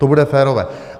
To bude férové.